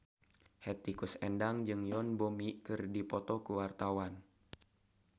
Hetty Koes Endang jeung Yoon Bomi keur dipoto ku wartawan